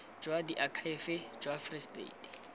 jwa diakhaefe jwa free state